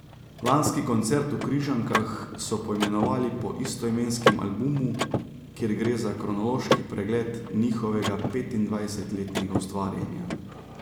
Lanski koncert v Križankah so poimenovali po istoimenskem albumu, kjer gre za kronološki pregled njihovega petindvajsetletnega ustvarjanja.